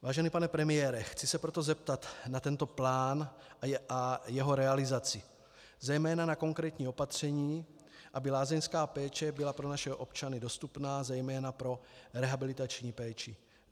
Vážený pane premiére, chci se proto zeptat na tento plán a jeho realizaci, zejména na konkrétní opatření, aby lázeňská péče byla pro naši občany dostupná, zejména pro rehabilitační péči.